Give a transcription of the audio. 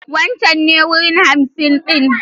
Wancen ne wuri hamsin ɗin.